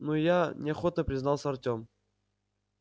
ну я неохотно признался артем